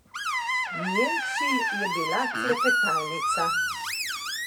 Njen cilj je bila klepetalnica.